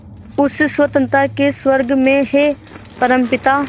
उस स्वतंत्रता के स्वर्ग में हे परमपिता